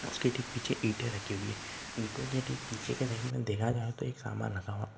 उसके ठीक पीछे ईटे रखे हुए है ईटो के ठीक पीछे की साइड में देखा जाय तो एक सामान रखा हुआ।